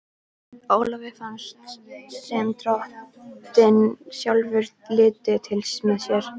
Ólafi fannst sem Drottinn sjálfur liti til með sér.